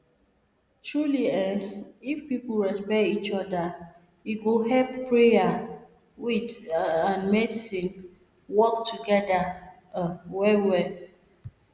truely eeh if people respect each oda e go help prayer wait and medicine work togeda ah well well